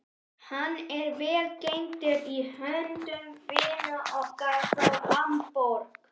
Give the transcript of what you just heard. Hann er vel geymdur í höndum vina okkar frá Hamborg.